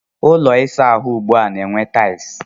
Ụlọ ịsa ahụ ugbua na-enwe taịlị.